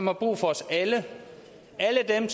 har brug for os alle alle dem